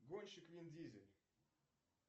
гонщик вин дизель